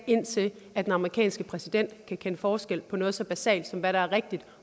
indtil den amerikanske præsident kan kende forskel på noget så basalt som hvad der er rigtigt